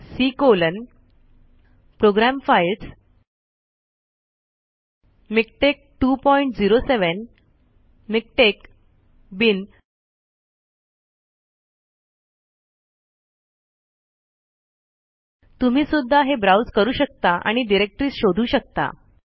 C colon program files MiKTeX 207 MiKTeX bin तुम्ही सुद्धा हे ब्राउज करू शकता आणि डायरेक्टरी शोधू शकता